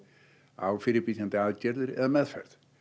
á fyrirbyggjandi aðgerðir eða meðferð